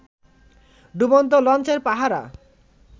ডুবন্ত লঞ্চের পাহারা